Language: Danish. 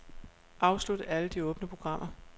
Afslut alle de åbne programmer.